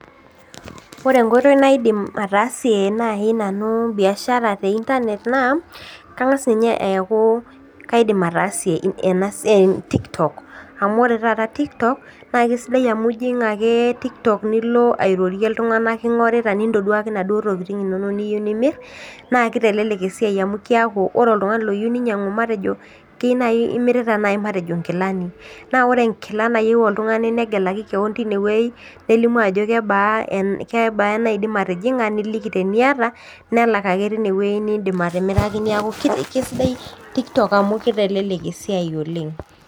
Ore enkoitoi naidim ataasie naai nanu biashara te internet naa kang'as ninye eeku kaidim ataasie ena siai tiktok amu ore taata tiktok naa kisidai amu ijing ake tiktok nilo airorie iltung'anak king'orita nintoduaki inaduo tokiting inonok niyieu nimirr naa kitelelek esiai amu kiaku ore oltung'ani loyieu ninyiang'u matejo kei naai matejo imirita naai matejo inkilani naa ore enkila nayieu oltung'ani negelaki keon tinewuei nelimu ajo kebaa kebaa enaidim atijing'a niliki teniata nelak ake tinewuei nindim atimiraki niaku kisidai tiktok amu kitelelek esiai oleng'.